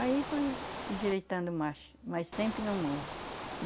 Aí fui endireitando mais, mas sempre no morro.